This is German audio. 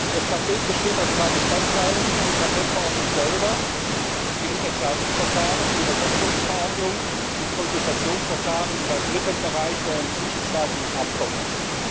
Das Paket besteht aus drei Bestandteilen der Patentverordnung selber im Mitentscheidungsverfahren, der Umsetzungsverordnung im Konsultationsverfahren und einem dritten Bereich, der ein zwischenstaatliches Abkommen ist.